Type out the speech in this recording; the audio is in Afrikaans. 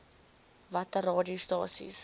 watter aa radiostasies